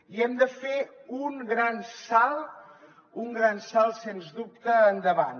i hem de fer un gran salt un gran salt sens dubte endavant